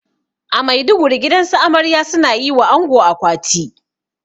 A maiduguri gidansu amarya suna yiwa ango akwati